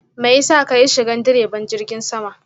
mayasa kayi shigan diraban jirgin sama?